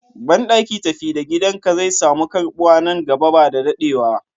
Banɗaki tafi da gidan ka zai samu karɓuwa nan gaba ba dadewa.